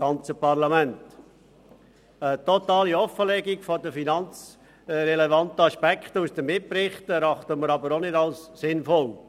Eine totale Offenlegung der finanzrelevanten Aspekte aus den Mitberichten erachten wir jedoch auch nicht als sinnvoll.